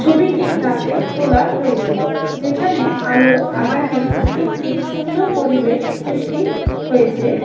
ছবিটি রাতে তোলা হয়েছে যেখানে আলো আধারের একটি সুন্দর পরিবেশ সৃষ্টি হয়েছে।